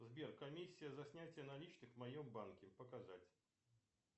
сбер комиссия за снятие наличных в моем банке показать